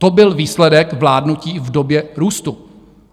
To byl výsledek vládnutí v době růstu.